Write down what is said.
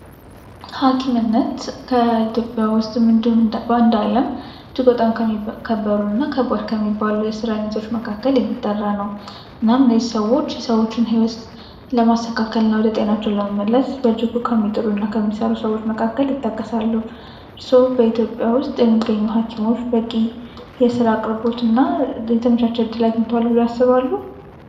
ሀኪም በኢትዮጵያ ውስጥ እንደዚሁም በአንድ ዓለም እጅግ በጣም ከባድ እና ከሚከበሩ የስራ አይነቶች መካከል የሚጠራ ነው የሰዎችን ህይወት ለማስተካከል በእጅጉ ከሚጥሩ ሰዎች መካከል ይጠቀሳል። ስለዚህ በኢትዮጵያ ውስጥ የሚገኙ ሀኪሞች የስራ አቅርቦትና የተመቻች ዕድል አግኝተዋል ብለው ያስባሉ?